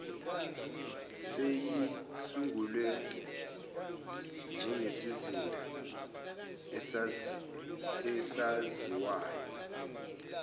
seyizisungule njengesizinda esaziwayo